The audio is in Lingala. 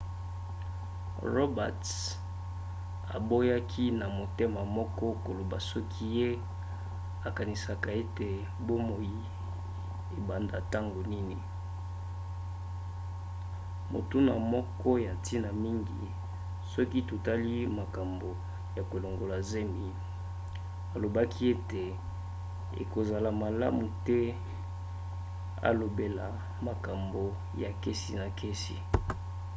roberts aboyaki na motema moko koloba soki ye akanisaka ete bomoi ebanda ntango nini motuna moko ya ntina mingi soki totali makambo ya kolongola zemi alobaki ete ekozala malamu te alobela makambo ya kesi na kesi